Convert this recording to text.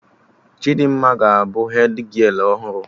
Chidimma ga abụ hedgialụ ọhụrụ